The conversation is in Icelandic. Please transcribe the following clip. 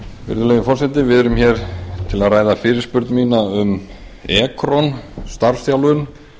virðulegi forseti við erum hér til að ræða fyrirspurn mína um ekron starfsþjálfun